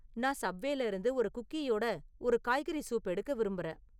நான் சப்வேல இருந்து ஒரு குக்கீயுடன் ஒரு காய்கறி சூப் எடுக்க விரும்புறேன்